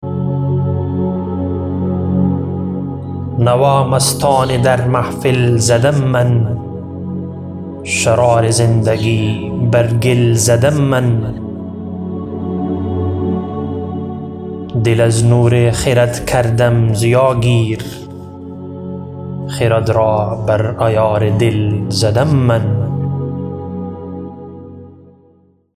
نوا مستانه در محفل زدم من شرار زندگی بر گل زدم من دل از نور خرد کردم ضیا گیر خرد را بر عیار دل زدم من